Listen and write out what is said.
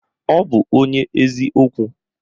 Ọ bụ onye ezi okwu